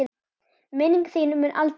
Minning þín mun aldrei fölna.